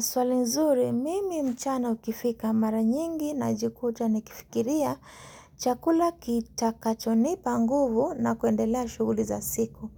Swali nzuri, mimi mchana ukifika maranyingi na jikuta nikifikiria chakula kitakacho nipanguvu na kuendelea shughuli za siku.